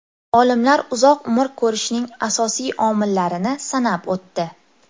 Olimlar uzoq umr ko‘rishning asosiy omillarini sanab o‘tdi.